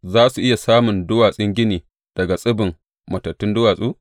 Za su iya samun duwatsun gini daga tsibin matattun duwatsu?